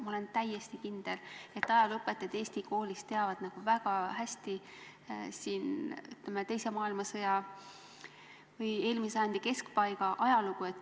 Ma olen täiesti kindel, et ajalooõpetajad eesti koolis teavad väga hästi, ütleme, teise maailmasõja või eelmise sajandi keskpaiga ajalugu.